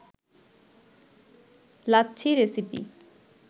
lassi recipe